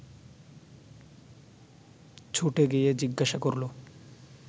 ছুটে গিয়ে জিজ্ঞাসা করল